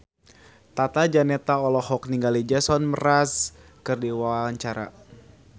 Tata Janeta olohok ningali Jason Mraz keur diwawancara